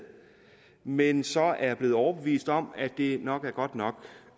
men så er blevet overbevist om at det nok er godt nok